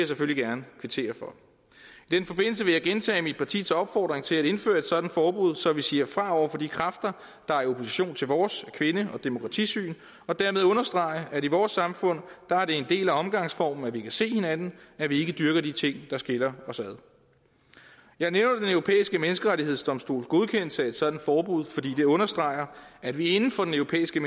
selvfølgelig gerne kvittere for i den forbindelse vil jeg gentage mit partis opfordring til at indføre et sådant forbud så vi siger fra over for de kræfter der er i opposition til vores kvinde og demokratisyn for dermed at understrege at i vores samfund er det en del af omgangsformen at vi kan se hinanden at vi ikke dyrker de ting der skiller os ad jeg nævner den europæiske menneskerettighedsdomstols godkendelse af et sådant forbud fordi det understreger at vi inden for den europæiske